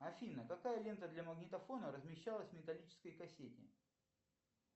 афина какая лента для магнитофона размещалась в металлической кассете